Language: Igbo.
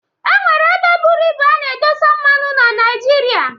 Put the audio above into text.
E nwere ebe buru ibu a na-edosa mmanụ na Naijiria.